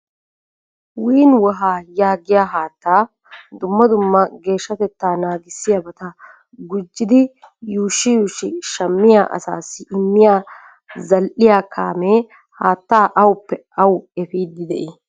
'Win weha' yaagiya haattaa dumma dumma geeshshateta naagissiyaabata gujidi yuushshi yuushshi shammiya asassi immiya zal"iya kaamee haatta awuppe awu efiidi de"ii?